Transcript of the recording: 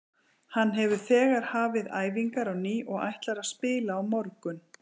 Hann hefur þegar hafið æfingar á ný og ætlar að spila á morgun.